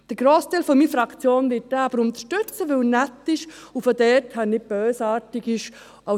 Der Grossteil meiner Fraktion wird diesen Antrag aber unterstützen, weil er nett ist und daher nicht bösartig ist.